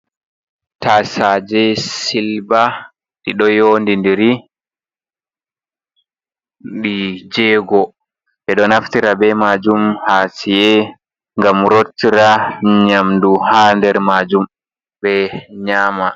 Tasaje silva ɗi ɗo yondi ndiri ɗi jego. Ɓedo naftira be majum ha sare gam rotta nyamdu ha nder majum ɓe nyama.